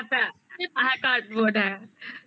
practical খাতা আর ওই cardboard হ্যাঁ